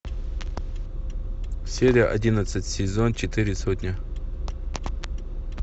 серия одиннадцать сезон четыре сотня